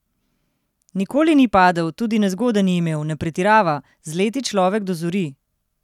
Nikoli ni padel, tudi nezgode ni imel, ne pretirava: "Z leti človek dozori.